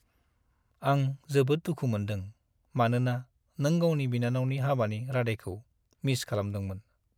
आं जोबोद दुखु मोन्दों, मानोना नों गावनि बिनानावनि हाबानि रादायखौ मिस खालामदोंमोन।